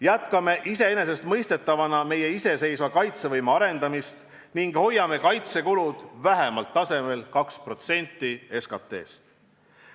Jätkame iseenesestmõistetavana meie iseseisva kaitsevõime arendamist ning hoiame kaitsekulutused vähemalt tasemel 2% SKT-st.